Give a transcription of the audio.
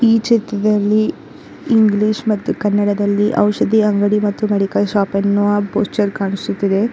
ಈ ಚಿತ್ತದಲ್ಲಿ ಇಂಗ್ಲಿಷ್ ಮತ್ತು ಕನ್ನಡದಲ್ಲಿ ಔಷದಿ ಅಂಗಡಿ ಮತ್ತು ಮೆಡಿಕಲ್ ಶಾಪ್ ಎನ್ನುವ ಪೋಸ್ಛರ್ ಕಾಣಿಸುತಿದೆ.